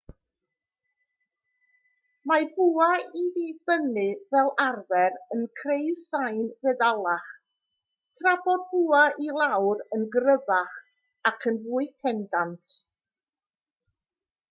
mae bwa i fyny fel arfer yn creu sain feddalach tra bod bwa i lawr yn gryfach ac yn fwy pendant